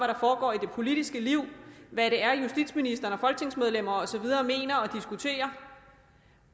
der foregår i det politiske liv hvad det er justitsministeren og folketingsmedlemmer og så videre mener og diskuterer